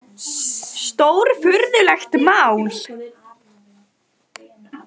Stórfurðulegt mál.